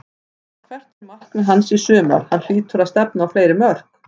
En hvert er markmið hans í sumar, hann hlýtur að stefna á fleiri mörk?